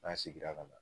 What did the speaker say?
N'an seginna ka na